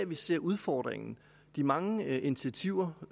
vi ser udfordringen de mange initiativer